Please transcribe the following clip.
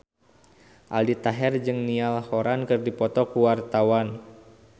Aldi Taher jeung Niall Horran keur dipoto ku wartawan